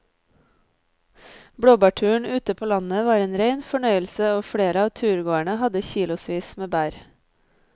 Blåbærturen ute på landet var en rein fornøyelse og flere av turgåerene hadde kilosvis med bær.